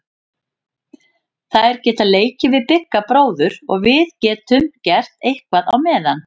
Þær geta leikið við Bigga bróður og við getum gert eitthvað á meðan.